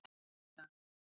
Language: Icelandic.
Hægviðri í dag